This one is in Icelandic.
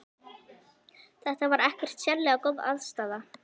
Þetta var ekkert sérlega góð aðstaða.